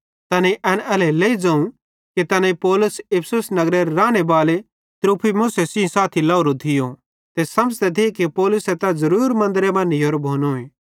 तैनेईं एन एल्हेरेलेइ ज़ोवं कि तैनेईं पौलुस इफिसुस नगरेरे रानेबाले त्रुफिमुस सेइं साथी लाहोरो थियो ते समझ़ते थिये कि पौलुसे तै ज़रुरी मन्दरे मां नीयोरो भोनोए